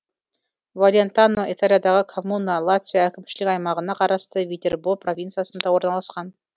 валентано италиядағы коммуна лацио әкімшілік аймағына қарасты витербо провинциясында орналасқан